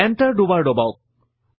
enter দুবাৰ দবাওক